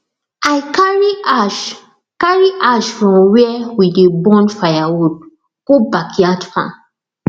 i carry ash carry ash from where we dey burn firewood go backyard farm